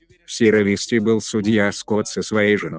в сиерра висте был судья скотт со своей женой